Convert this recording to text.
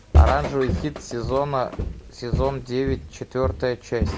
оранжевый хит сезона сезон девять четвертая часть